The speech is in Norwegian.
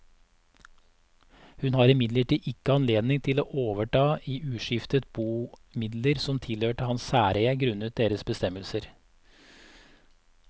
Hun har imidlertid ikke anledning til å overta i uskiftet bo midler som tilhørte hans særeie grunnet deres bestemmelser.